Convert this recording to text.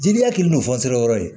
Jeliya kɛlen don yɔrɔ ye